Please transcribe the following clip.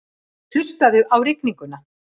Hlustaðu á rigninguna.